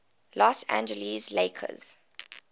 los angeles lakers